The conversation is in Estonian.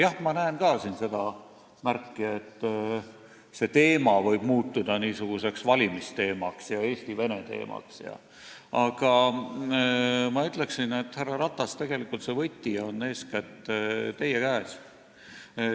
Jah, ma näen ka siin seda märki, et see teema võib muutuda niisuguseks valimisteemaks ja Eesti-Vene teemaks, aga ma ütleksin, härra Ratas, et tegelikult on võti eeskätt teie käes.